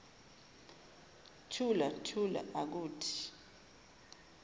thula thula akuthi